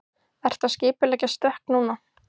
Ertu að skipuleggja stökk núna?